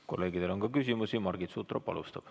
Kolleegidel on ka küsimusi, Margit Sutrop alustab.